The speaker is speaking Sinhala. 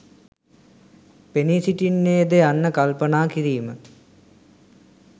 පෙනී සිටින්නේ ද යන්න කල්පනා කිරීම.